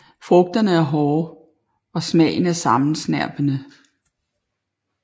Frugterne er hårde og smagen er sammensnerpende